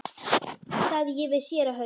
sagði ég við séra Hauk.